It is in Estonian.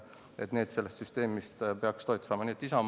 Nii et Isamaa toetab seda eelnõu.